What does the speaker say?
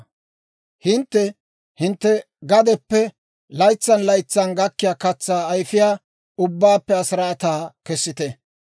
«Hintte hintte gadeppe laytsan laytsan gakkiyaa katsaa ayfiyaa ubbaappe asiraataa kessite.